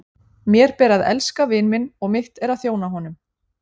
Mér ber að elska vin minn og mitt er að þjóna honum.